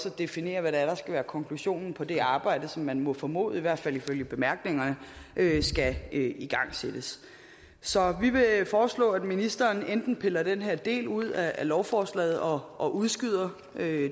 at definere hvad det er der skal være konklusionen på det arbejde som man må formode i hvert fald ifølge bemærkningerne skal igangsættes så vi vil foreslå at ministeren enten piller den her del ud af lovforslaget og og udskyder